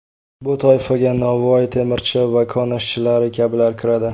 Bu toifaga novvoy, temirchi va kon ishchilari kabilar kiradi.